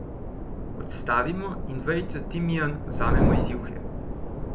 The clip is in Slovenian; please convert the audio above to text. Odstavimo in vejico timijan vzamemo iz juhe.